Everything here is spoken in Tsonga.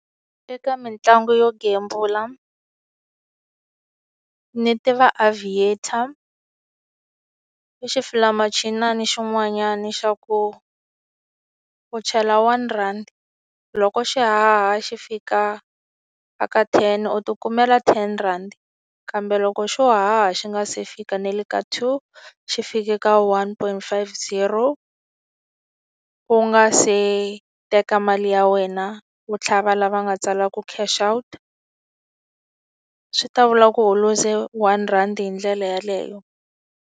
Eka mitlangu yo gembula ni tiva Aviator, I xifulayimachinana xin'wanyana xa ku u chela one rhandi, loko xi haha xi fika eka ten u ti kumela ten rand. Kambe loko xo haha xi nga se fika na le ka two, xi fike ka one point five zero, u nga se teka mali ya wena, u tlhava laha va nga tsalaku cash out, swi ta vula ku u luze one rhandi hi ndlela yeleyo.